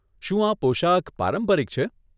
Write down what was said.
શું આ પોશાક પારંપરિક છે?